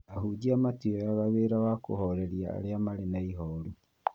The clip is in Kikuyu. Ahunjia matioyaya wĩra wa kũhoreria arĩa Marĩ na ihoru